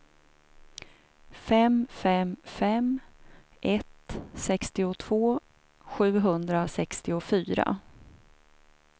fem fem fem ett sextiotvå sjuhundrasextiofyra